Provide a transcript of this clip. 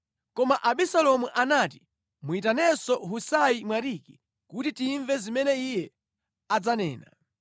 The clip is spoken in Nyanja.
Koma Abisalomu anati, “Muyitanenso Husai Mwariki kuti timve zimene iye adzanena.”